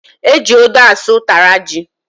Eji odo asụ utara ji